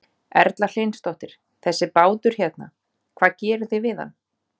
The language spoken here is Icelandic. Erla Hlynsdóttir: Þessi bátur hérna, hvað gerið þið við hann?